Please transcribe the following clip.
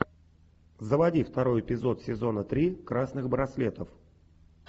заводи второй эпизод сезона три красных браслетов